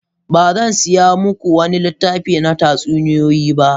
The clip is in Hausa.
Ba zan saya muku wani littafi na tatsuniyoyi ba.